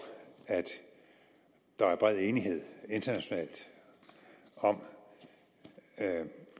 at der er bred enighed internationalt om